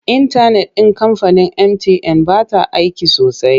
Intanet ɗin kamfanin mtn ba ta aiki sosai.